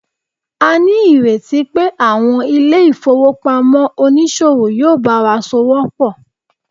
a ni ireti pe àwọn ilé ifowopamọ onísòwò yíò bawa s'ọwọ pọ